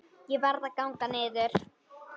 Ég varð að ganga niður